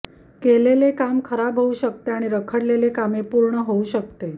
केलेले काम खराब होऊ शकते आणि रखडलेले कामे पूर्ण होऊ शकते